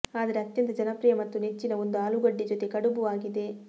ಆದರೆ ಅತ್ಯಂತ ಜನಪ್ರಿಯ ಮತ್ತು ನೆಚ್ಚಿನ ಒಂದು ಆಲೂಗಡ್ಡೆ ಜೊತೆ ಕಡುಬು ಆಗಿದೆ